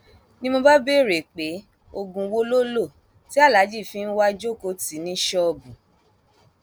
ni mo bá béèrè pé oògùn wo lo lò tí aláàjì fi ń wáá jókòó tì í ní ṣọọbù